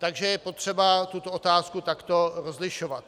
Takže je potřeba tuto otázku takto rozlišovat.